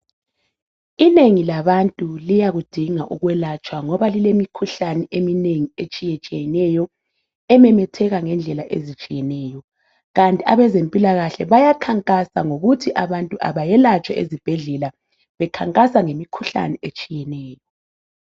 Inengi labantu liyakudinga ukwelatshwa ngoba lilemikhuhlane eminengi etshiyetshiyeneyo ememetheka ngendlela ezitshiyeneyo kanti abezempilakahle bayakhankasa ngokuthi abantu abayelatshwe ezibhedlela bekhankasa ngemikhuhlane etshiyeneyo.